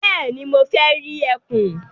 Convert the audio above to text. Bẹ́ẹ̀ni, mo fẹ́ rí ẹkùn.